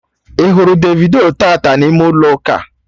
Ị hụrụ Davido taata n'ime ụlọ ụka?